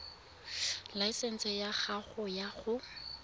laesense ya gago ya go